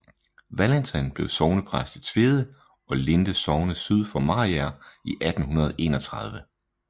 Vallentin blev sognepræst i Tvede og Linde Sogne syd for Mariager i 1831